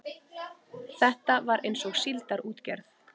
Þetta var eins og síldarútgerð.